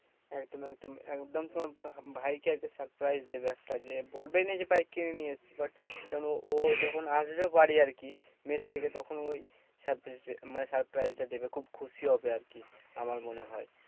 একদম একদম। একদম তোমার ভাই ভাইকে একটা surprise দেবে একটা যে, বলবে না যে বাইক কিনে নিয়ে এসেছি but কেন ও যখন আসবে বাড়ি আরকি মেস থেকে তখন ও মানে surprise টা দেবে খুব খুশি হবে আরকি। আমার মনে হয়।